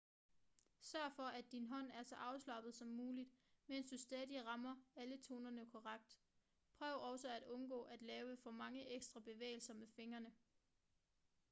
sørg for at din hånd er så afslappet som muligt mens du stadig rammer alle tonerne korrekt prøv også at undgå at lave for mange ekstra bevægelser med fingrene